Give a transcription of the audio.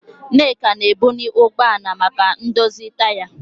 Nneka na-ebuli ụgbọ ala maka ndozi taya.